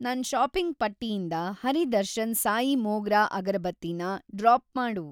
ನನ್‌ ಷಾಪಿಂಗ್‌ ಪಟ್ಟಿಯಿಂದ ಹರಿ ದರ್ಶನ್ ಸಾಯಿ ಮೋಗ್ರಾ ಅಗರ್‌ಬತ್ತಿ ನ ಡ್ರಾಪ್‌ ಮಾಡು.